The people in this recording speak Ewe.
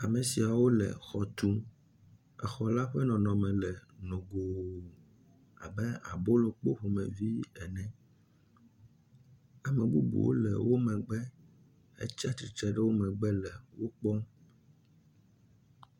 Ame siawo le xɔ tum. Exɔ la ƒe nɔnɔme le nogo abe abolokpo ene. Ame bubuwo le wo mgbe hetsi atsitre ɖe wo megbe le wokpɔm.